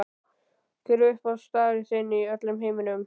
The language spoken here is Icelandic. Hver er uppáhaldsstaður þinn í öllum heiminum?